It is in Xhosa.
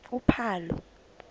uphalo